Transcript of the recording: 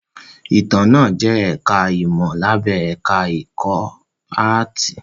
Ìtàn náà jẹ́ ẹ̀ká ìmọ̀ lábẹ́ ẹ̀ká ẹ̀kọ́ áàtì